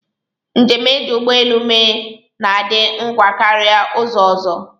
Njem e ji ụgbọelu mee na-adị ngwa karịa ụzọ ọzọ